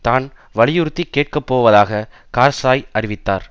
தான் வலியுறுத்தி கேட்கப்போவதாக கார்ஸாய் அறிவித்தார்